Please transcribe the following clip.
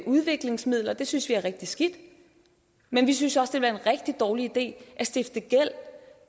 udviklingsmidler det synes vi er rigtig skidt men vi synes også være en rigtig dårlig idé at stifte gæld